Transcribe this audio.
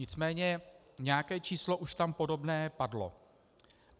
Nicméně nějaké číslo už tam podobné padlo.